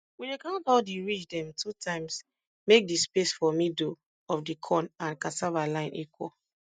we dey count all di ridge dem two times make di space for middle of di corn and cassava line equal